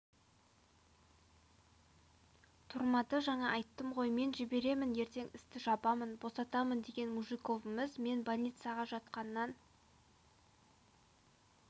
тұрмады жаңа айттым ғой мен жіберемін ертең істі жабамын босатамын деген мужиковіміз мен больницаға жатқаннан